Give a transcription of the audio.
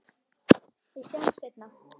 Við sjáumst seinna.